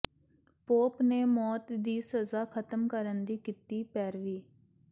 pop ਨੇ ਮੌਤ ਦੀ ਸਜ਼ਾ ਖਤਮ ਕਰਨ ਦੀ ਕੀਤੀ ਪੈਰਵੀ